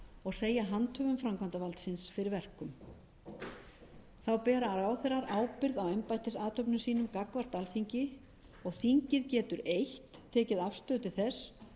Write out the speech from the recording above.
og segja handhöfum framkvæmdarvaldsins fyrir verkum þá bera ráðherrar ábyrgð embættisathöfnum sínum gagnvart alþingi og þingið getur eitt tekið afstöðu til þess